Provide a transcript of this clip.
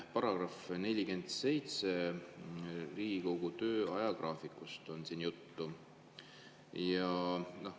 Paragrahvis 47 on juttu Riigikogu töö ajagraafikust.